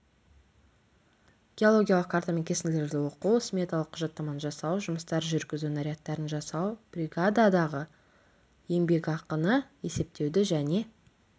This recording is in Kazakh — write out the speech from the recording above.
геологиялық карта мен кесінділерді оқу сметалық құжаттаманы жасау жұмыстар жүргізу нарядтарын жасау бригададағы еңбекақыны есептеуді және